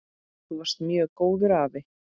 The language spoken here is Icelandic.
Þú varst mjög góður afi.